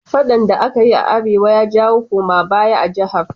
Faɗan da akayi a arewa ya jawo koma baya a jahar?